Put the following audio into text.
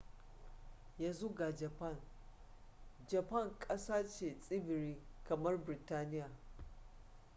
yanzu ga japan japan ƙasa ce tsibiri kamar biritaniya